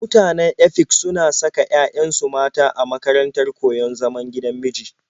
Mutanen Efik suna saka 'ya'yansu mata a makarantar koyon zaman gigan miji.